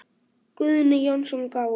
Guðni Jónsson gaf út.